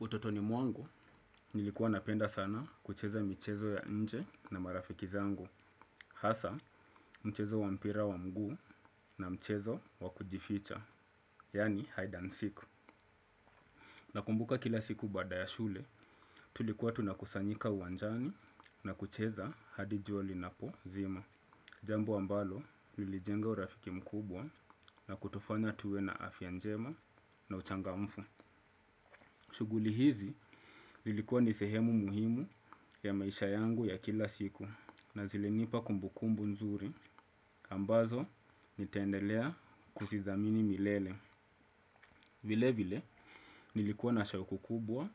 Utotoni mwangu, nilikuwa napenda sana kucheza michezo ya nje na marafiki zangu. Hasa, mchezo wampira wa mguu na mchezo wakujificha, yaani hide and seek. Nakumbuka kila siku baada ya shule, tulikuwa tunakusanyika uwanjani na kucheza hadijuali na po zima. Jambo ambalo, lilijenga urafiki mkubwa na kutufanya tuwe na afyanjema na uchanga mfu. Shughuli hizi zilikua nisehemu muhimu ya maisha yangu ya kila siku na zili nipa kumbukumbu nzuri ambazo nitaendelea kuzidhamini milele. Vile vile nilikua na shau kukubwa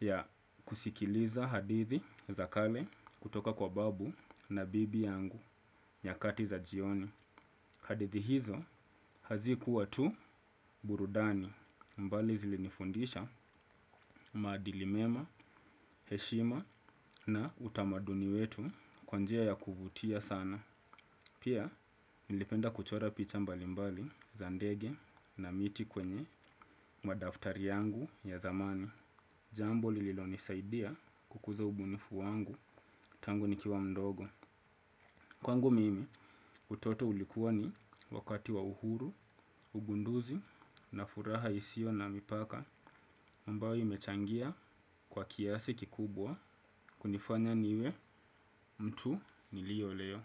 ya kusikiliza hadithi za kale kutoka kwa babu na bibi yangu nya kati za jioni. Hadithi hizo hazi kuwa tu burudani mbali zilinifundisha maadilimema, heshima na utamaduni wetu kwanjia ya kuvutia sana. Pia nilipenda kuchora picha mbali mbali zandege na miti kwenye madaftari yangu ya zamani. Jambo lililonisaidia kukuza ubunifu wangu tangu nikiwa mdogo. Kwangu mimi utoto ulikuwa ni wakati wa uhuru, ugunduzi na furaha isio na mipaka ambayo imechangia kwa kiasi kikubwa kunifanya niwe mtu nilio leo.